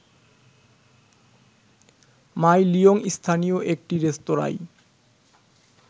মাই Liang স্থানীয় একটি রেস্তোরাঁয়